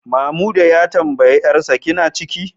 Mamuda ya tambayi 'yarsa, kina ciki?